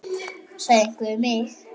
sagði einhver við mig.